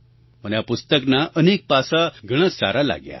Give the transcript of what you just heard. મને આ પુસ્તકનાં અનેક પાસાં ઘણાં સારાં લાગ્યાં